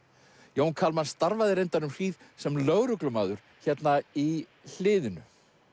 Jón Kalman starfaði reyndar um hríð sem lögreglumaður hérna í hliðinu